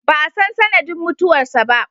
Ba a san sanadin mutuwar sa ba.